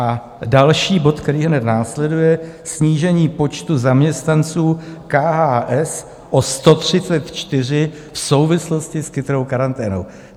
A další bod, který hned následuje, snížení počtu zaměstnanců KHS o 134 v souvislosti s Chytrou karanténou.